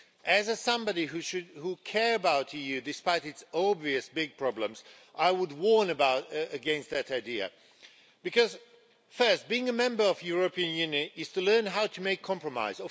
As somebody who cares about the EU despite its obvious big problems, I would warn against that idea because first being a member of the European Union is to learn how to make compromise.